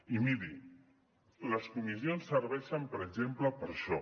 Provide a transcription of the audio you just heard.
i miri les comissions serveixen per exemple per això